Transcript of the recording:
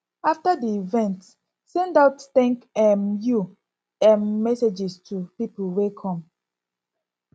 after di event send out thank um you um messages to pipo wey come